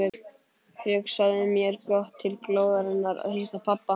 Hugsaði mér gott til glóðarinnar að hitta pabba.